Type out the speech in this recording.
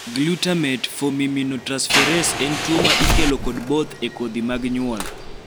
Glutamate formiminotransferase en tuo ma ikelo kod both e kodhi mag nyuol